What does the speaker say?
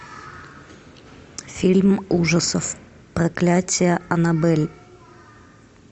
фильм ужасов проклятие аннабель